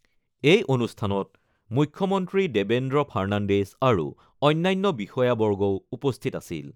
এই অনুষ্ঠানত মুখ্যমন্ত্ৰী দেবেন্দ্ৰ ফাৰ্ণাণ্ডেজ আৰু অন্যান্য বিষয়াবৰ্গও উপস্থিত আছিল।